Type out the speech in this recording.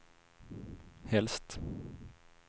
helst